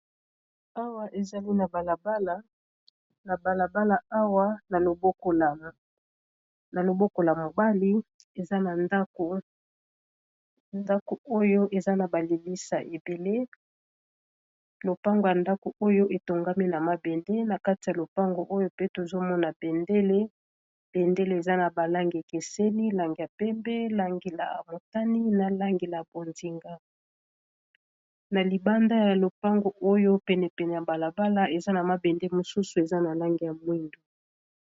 awa ezali na balabalana balabala awa na loboko la mobali andako oyo eza na balilisa ebele lopango ya ndako oyo etongami na mabende na kati ya lopango oyo pe tozomona bendele bendele eza na balange ekeseli lange ya pembe langila amotani na langila bondinga na libanda ya lopango oyo penepene ya balabala eza na mabende mosusu eza na lange ya mwindu